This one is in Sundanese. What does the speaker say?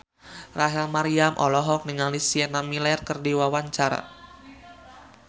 Rachel Maryam olohok ningali Sienna Miller keur diwawancara